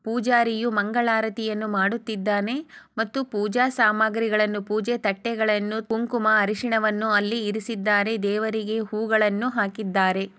ಪೂಜಾರಿಯು ಮಂಗಳಾರತಿ ಮಾಡುತ್ತಿದನೆ ಮತ್ತು ಪೂಜೆ ಸಾಮಗ್ರಿಗಳನ್ನು ಪೂಜೆ ತಟ್ಟೆಗಳನ್ನು ಕುಂಕುಮ ಅರಿಶಿನವನು ಅಲ್ಲಿ ಇರಿಸಿದ್ದಾರೆ ದೇವರಿಗೆ ಹೂಗಳನ್ನು ಹಾಕಿದ್ದಾರೆ.